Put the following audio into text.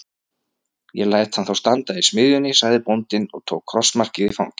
Ég læt hann þá standa í smiðjunni, sagði bóndinn og tók krossmarkið í fangið.